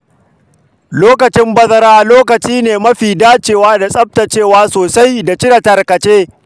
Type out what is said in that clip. Lokacin bazara lokaci ne mafi dacewa da tsaftacewa sosai da cire tarkace.